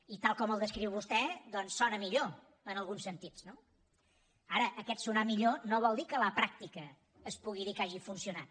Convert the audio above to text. i tal com el descriu vostè sona millor en alguns sentits no ara aquest sonar millor no vol dir que a la pràctica es pugui dir que hagi funcionat